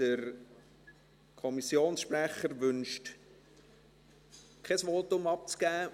Der Kommissionssprecher wünscht nicht, ein Votum abzugeben.